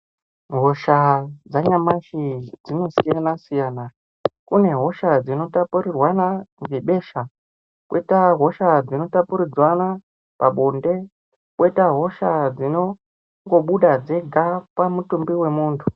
Hosha dzanyamashi dzinosiyana siyana kune hosha dzinotapurirwana ngebesha Kwoita hosha dzinotapuridzwana pabonde kwoita hosha dzinongobuda dzega pamutumbi wemuntu.